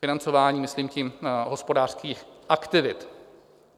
Financování, myslím tím hospodářských aktivit.